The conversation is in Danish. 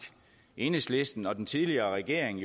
enhedslisten og den tidligere regering